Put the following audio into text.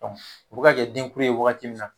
Dɔnku u be ka kɛ denkura ye wagati min na